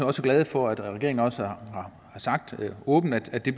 også glade for at regeringen har sagt åbent at det